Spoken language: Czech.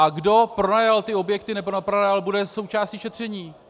A kdo pronajal ty objekty nebo nepronajal, bude součástí šetření.